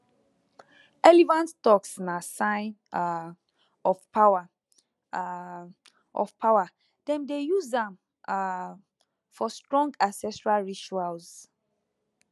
elephant tusk na sign um of power um of power dem dey use am um for strong ancestral rituals